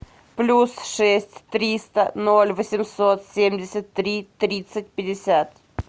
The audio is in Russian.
плюс шесть триста ноль восемьсот семьдесят три тридцать пятьдесят